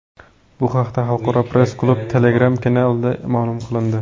Bu haqda Xalqaro press-klub Telegram-kanalida ma’lum qilindi .